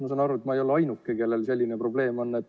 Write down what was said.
Ma saan aru, et ma ei ole ainuke, kellel selline probleem on.